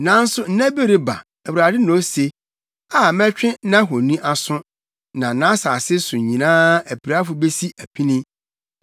“Nanso nna bi reba,” Awurade na ose, “a mɛtwe nʼahoni aso, na nʼasase so nyinaa apirafo besi apini.